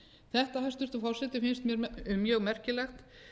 þetta hæstvirtur forseti finnst mér mjög merkilegt